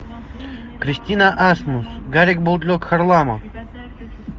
кристина асмус гарик бульдог харламов